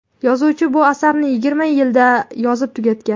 yozuvchi bu asarni yigirma yilda yozib tugatgan.